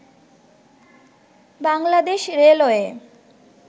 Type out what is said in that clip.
Bangladesh railway